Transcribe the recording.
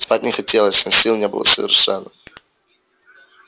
спать не хотелось но сил не было совершенно